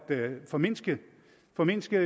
formindske formindske